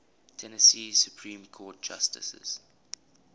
tennessee supreme court justices